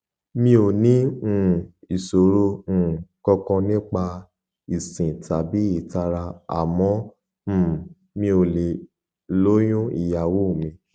mi ò ní um ìṣòro um kankan nípa ìsín tàbí ìtara àmọ um mi ò lè lóyún ìyàwó mi